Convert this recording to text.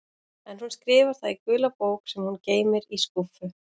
En hún skrifar það í gula bók sem hún geymir í skúffu.